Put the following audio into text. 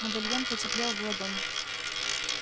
медальон потеплел в ладони